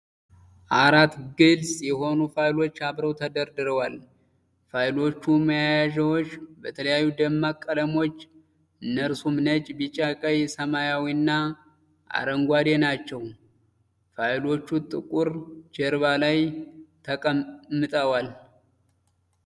አራት ግልጽ የሆኑ ፋይሎች አብረው ተደርድረዋል። የፋይሎቹ ማያያዣዎች በተለያዩ ደማቅ ቀለሞች፤ እነርሱም ነጭ፣ ቢጫ፣ ቀይ፣ ሰማያዊና አረንጓዴ ናቸው። ፋይሎቹ ጥቁር ጀርባ ላይ ተቀምጠዋል።